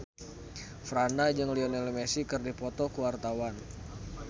Franda jeung Lionel Messi keur dipoto ku wartawan